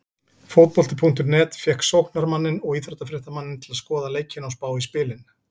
Fótbolti.net fékk sóknarmanninn og íþróttafréttamanninn til að skoða leikina og spá í spilin.